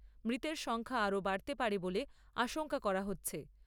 মৃতের সংখ্যা আরও বাড়তে পারে বলে আশঙ্কা করা হচ্ছে।